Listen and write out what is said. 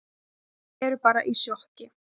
Þau eru bara í sjokki.